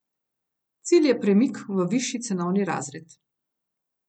Cilj je premik v višji cenovni razred.